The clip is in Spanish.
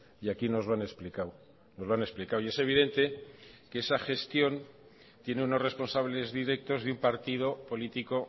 y aquí nos lo han explicado nos lo han explicado y es evidente que esa gestión tiene unos responsables directos de un partido político